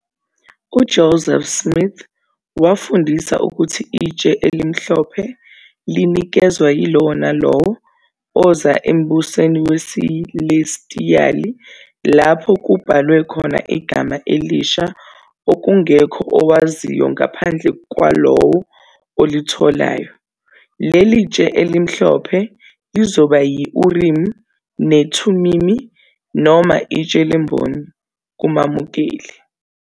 UJoseph Smith wafundisa ukuthi "itshe elimhlophe linikezwa yilowo nalowo oza embusweni wesilestiyali, lapho kubhalwe khona igama elisha, okungekho owaziyo ngaphandle kwalowo olitholayo."Leli tshe elimhlophe lizoba yi- Urimi neThumimi, noma itshe lemboni, kumamukeli.